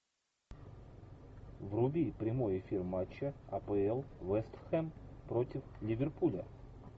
вруби прямой эфир матча апл вест хэм против ливерпуля